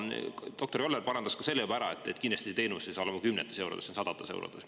Doktor Joller juba parandas selle ära, et kindlasti ei ole selle teenuse hind kümnetes eurodes, see on sadades eurodes.